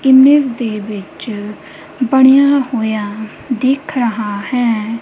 ਦੇ ਵਿੱਚ ਬਣਿਆ ਹੋਇਆ ਦਿਖ ਰਹਾ ਹੈ।